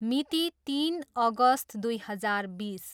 मिति, तिन अगस्त दुई हजार बिस।